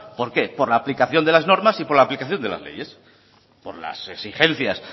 por qué por la aplicación de las normas y por las aplicación de las leyes por las exigencias